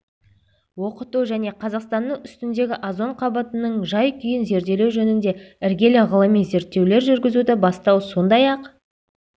оқыту және қазақстанның үстіндегі озон қабатының жай-күйін зерделеу жөнінде іргелі ғылыми зерттеулер жүргізуді бастау сондай-ақ